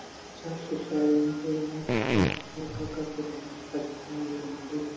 छ फूट का यह मंदिर में खड़ा होकर यह मंदिर --